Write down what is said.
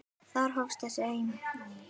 Þar hófst þessi eymd.